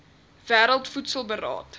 wêreld voedsel beraad